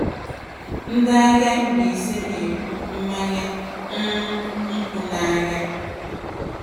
Ndị ahịa Mbaise na-ebu mmanya um nkwụ n'ahịa.